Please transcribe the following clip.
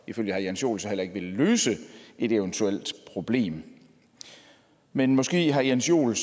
ifølge herre jens joel så heller ikke vil løse et eventuelt problem men måske herre jens joel